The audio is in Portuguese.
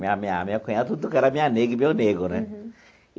Minha minha minha cunhada tudo era minha nega e meu nego né.